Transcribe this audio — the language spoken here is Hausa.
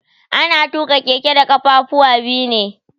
Ana tuƙa keke da kafafuwa biyu ne.